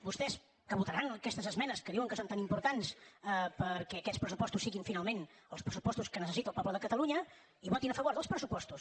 vostès que votaran aquestes esmenes que diuen que són tan importants perquè aquests pressupostos siguin finalment els pressupostos que necessita el poble de catalunya hi votin a favor dels pressupostos